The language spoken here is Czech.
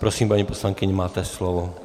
Prosím, paní poslankyně, máte slovo.